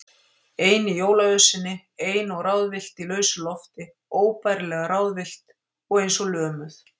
Ein í jólaösinni, ein og ráðvillt í lausu lofti, óbærilega ráðvillt og eins og lömuð.